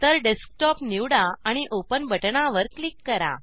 तर डेस्कटॉप निवडा आणि ओपन बटणावर क्लिक करा